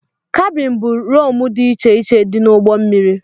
Kabin bụ roomu dị iche iche dị n'ugbó mmiri.